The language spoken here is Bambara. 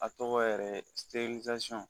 A tɔgɔ yɛrɛ ye